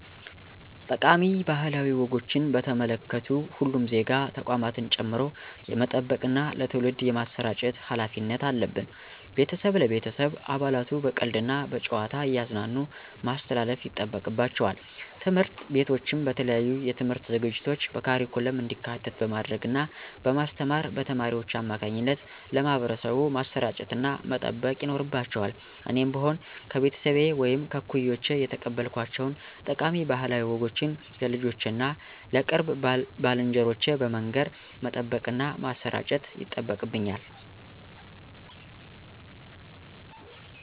ጠቃሚ ባህላዊ ወጎችን በተመለከቱ ሁሉም ዜጋ ተቋማትን ጨምሮ የመጠበቅና ለትውልድ የማሰራጨት ሀላፊነት አለብን። ቤተሰብ ለቤተሰብ አባላቱ በቀልድ እና በጨዋታ እያዝናኑ ማስተላለፍ ይጠበቅባቸዋል። ትምህርት ቤቶችም በተለያዩ የትምህርት ዝግጅቶች በካሪኩለም እንዲካተት በማድረግ እና በማስተማር በተማሪዎች አማካኝነት ለማህበረሰቡ ማሰራጨትና መጠበቅ ይኖርባቸዋል እኔም ብሆን ከቤተሰቤ ወይም ከእኩዮቼ የተቀበልኳቸውን ጠቃሚ ባህላዊ ወጎችን ለልጆቼ እና ለቅርብ ባልንጀሮቼ በመንገር መጠበቅና ማሠራጨት ይጠበቅብኛል።